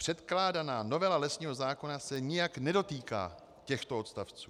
Předkládaná novela lesního zákona se nijak nedotýká těchto odstavců.